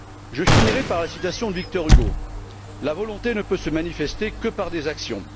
Je finirai par la citation de Victor Hugo La volonté ne peut se manifester que par des actions.